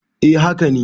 eh haka ne